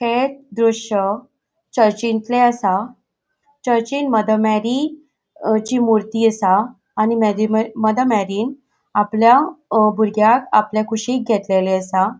हे दृश्य चर्चचितले असा. चर्चिन मदर मेरी ची मूर्ती असा आणि मादा मेरी मदर मेरीन आपल्या भुरग्यांक आपल्या कुशिन घेतलेले असा.